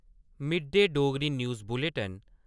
mid-day Dogri news bulletin